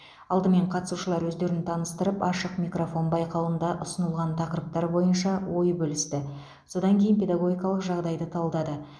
алдымен қатысушылар өздерін таныстырып ашық микрофон байқауында ұсынылған тақырыптар бойынша ой бөлісті содан кейін педагогикалық жағдайды талдады